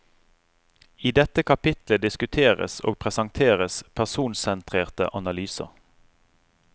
I dette kapitlet diskuteres og presenteres personsentrerte analyser.